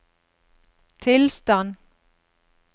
tilstand